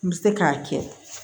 N bɛ se k'a kɛ